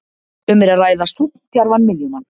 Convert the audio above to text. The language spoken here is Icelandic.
Um er að ræða sókndjarfan miðjumann.